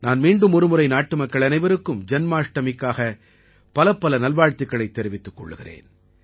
நான் மீண்டும் ஒரு முறை நாட்டு மக்கள் அனைவருக்கும் ஜன்மாஷ்டமிக்கான பலப்பல நல்வாழ்த்துக்களைத் தெரிவித்துக் கொள்கிறேன்